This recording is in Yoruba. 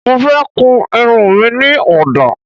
Mo fẹ́ kun irun mi ní ọ̀dà